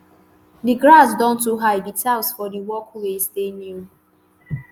di grass don too high di tiles for di walkways dey new